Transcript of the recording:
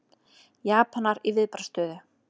Japanar í viðbragðsstöðu